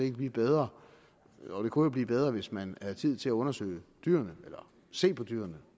kan blive bedre jo det kunne jo blive bedre hvis man havde tid til at undersøge dyrene eller se på dyrene